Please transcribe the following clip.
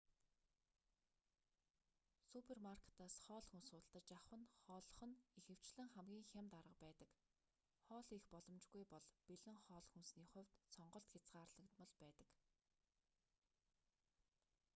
супермаркетаас хоол хүнс худалдаж авах нь хооллох нь ихэвчлэн хамгийн хямд арга байдаг хоол хийх боломжгүй бол бэлэн хоол хүнсний хувьд сонголт хязгаарлагдмал байдаг